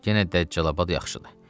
Yenə Dəccalabad yaxşıdır.